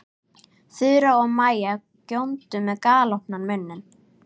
Þura og Maja góndu með galopna munna.